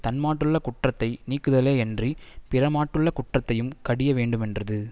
தன்மாட்டுள்ள குற்றத்தை நீக்குதலே யன்றி பிறர் மாட்டுள்ள குற்றத்தையும் கடிய வேண்டுமென்றது